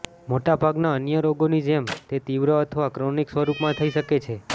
મોટા ભાગના અન્ય રોગોની જેમ તે તીવ્ર અથવા ક્રોનિક સ્વરૂપમાં થઇ શકે છે